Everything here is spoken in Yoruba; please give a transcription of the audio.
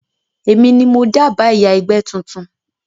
Èmi ni mo dábàá ìyá ẹgbẹ́ tuntun